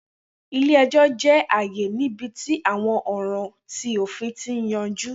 Ile-ẹjọ jẹ aaye nibiti awọn ọran ti ofin ti yanju.